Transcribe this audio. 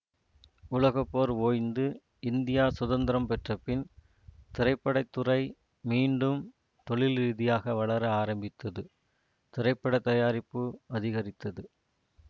உலக போர் ஓய்ந்து இந்தியா சுதந்திரம் பெற்றபின் திரைப்பட துறை மீண்டும் தொழில் ரீதியாக வளர ஆரம்பித்தது திரைப்பட தயாரிப்பு அதிகரித்தது